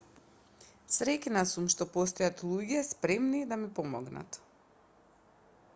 среќна сум што постојат луѓе спремни да ми помогнат